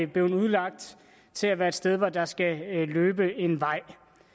blevet udlagt til at være et sted hvor der skal løbe en vej